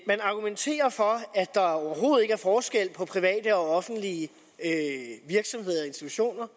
argumenterer for at der overhovedet ikke er forskel på private og offentlige virksomheder og institutioner